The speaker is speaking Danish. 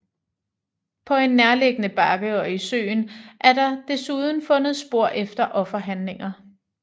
På en nærliggende bakke og i søen er der desuden fundet spor efter offerhandlinger